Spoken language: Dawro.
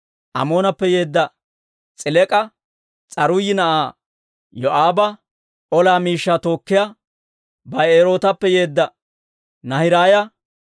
Amoonappe yeedda S'elek'a, S'aruuyi na'aa Yoo'aaba ola miishshaa tookkiyaa Ba'erootappe yeedda Naahiraaya,